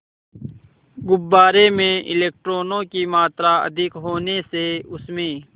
गुब्बारे में इलेक्ट्रॉनों की मात्रा अधिक होने से उसमें